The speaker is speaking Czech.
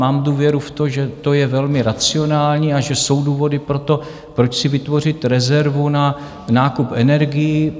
Mám důvěru v to, že to je velmi racionální a že jsou důvody pro to, proč si vytvořit rezervu na nákup energií.